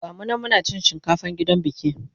gamu nan Muna cin shinkafan gidan biki